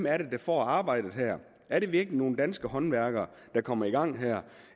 er der får arbejdet er det virkelig nogle danske håndværkere der kommer i gang